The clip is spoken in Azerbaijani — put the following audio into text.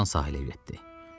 Tarzan sahilə yüyürdü.